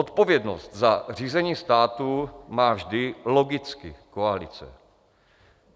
Odpovědnost za řízení státu má vždy logicky koalice.